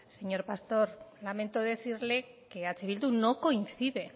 señor pastor lamento decirle que eh bildu no coincide